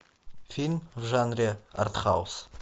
фильм в жанре артхаус